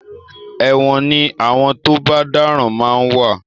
ẹ̀wọ̀n ní àwọn tó bá dáràn ma ń wà.